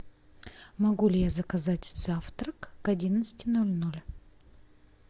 могу ли я заказать завтрак к одиннадцати ноль ноль